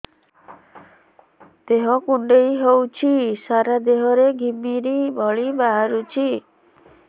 ଦେହ କୁଣ୍ଡେଇ ହେଉଛି ସାରା ଦେହ ରେ ଘିମିରି ଭଳି ବାହାରୁଛି